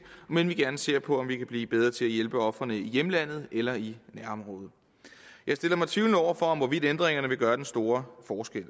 men vi vil gerne se på om vi kan blive bedre til at hjælpe ofrene i hjemlandet eller i nærområdet jeg stiller mig tvivlende over for hvorvidt ændringerne vil gøre den store forskel